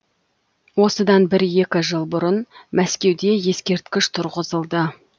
осыдан бір екі жыл бұрын мәскеуде ескерткіш тұрғызылды